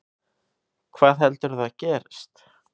Hvað heldurðu að gerist?